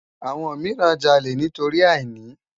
Awòn mirán jàlé nitóri àínì